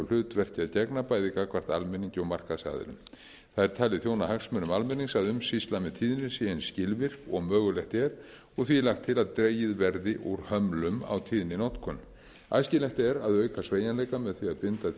hlutverki að gegna bæði gagnvart almenningi og markaðsaðilum það er talið þjóna hagsmunum almennings að umsýsla með tíðnir sé eins skilvirk og mögulegt er og því er lagt til að dregið verði úr hömlum á tíðninotkun æskilegt er að auka sveigjanleika með því að